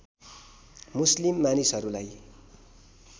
मुस्लिम मानिसहरुलाई